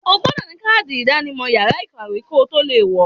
O gbọdọ̀ ní kádì ìdánimọ̀ yàrá ìkàwé kotó le wọ̀ọ.